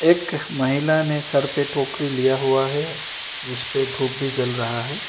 एक महिला ने सर पे टोकरी लिया हुआ है जिस पे धूप भी जल रहा है।